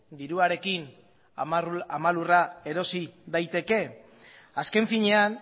diruarekin ama lurra erosi daiteke azken finean